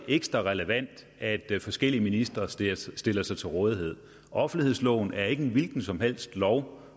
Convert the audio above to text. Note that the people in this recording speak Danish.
ekstra relevant at forskellige ministre stiller sig stiller sig til rådighed offentlighedsloven er ikke en hvilken som helst lov